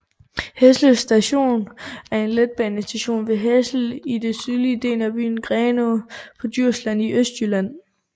Hessel Station er en letbanestation ved Hessel i den sydlige del af byen Grenaa på Djursland i Østjylland